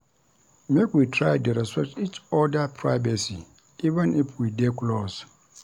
Make we try dey respect each oda privacy even if we dey close.